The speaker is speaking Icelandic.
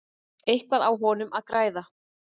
Eitthvað á honum að græða?